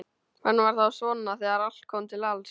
Hann var þá svona þegar allt kom til alls.